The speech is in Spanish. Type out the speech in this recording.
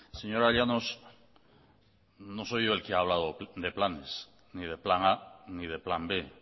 señora llanos no soy yo el que ha hablado de planes ni de plan a ni de plan b